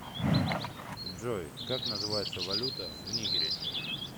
джой как называется валюта в нигере